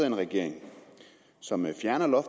en regering som fjerner